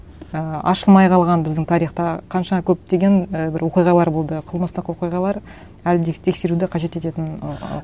і ашылмай қалған біздің тарихта қанша көптеген і бір оқиғалар болды қылмыстық оқиғалар әлі де тексеруді қажет ететін